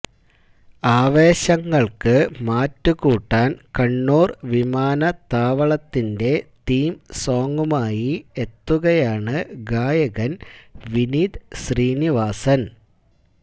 ആവേശങ്ങള്ക്ക് മാറ്റുകൂട്ടാന് കണ്ണൂര് വിമാനത്താവളത്തിന്റെ തീം സോങ്ങുമായി എത്തുകയാണ് ഗായകന് വിനീത് ശ്രീനിവാസന്